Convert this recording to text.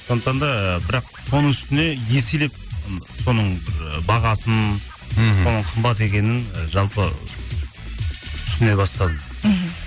сондықтан да ыыы бірақ соның үстіне еселеп соның ы бағасын мхм соның қымбат екенін жалпы түсіне бастадым мхм